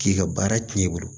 K'i ka baara tiɲɛ i bolo